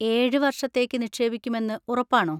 ഏഴ്‌ വർഷത്തേക്ക് നിക്ഷേപിക്കുമെന്ന് ഉറപ്പാണോ?